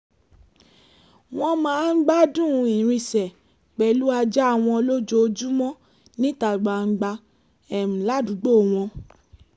wọ́n máa ń gbádùn ìrìnsẹ̀ pẹ̀lú ajá wọn lójoojúmọ́ níta gbangba ládùúgbò wọn